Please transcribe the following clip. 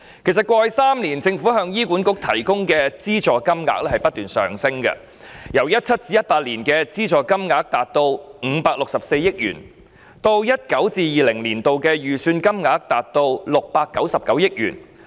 過去3年，政府向醫管局提供的資助金額其實不斷上升，由 2017-2018 年度達564億元，上升至 2019-2020 年度的預算金額699億元。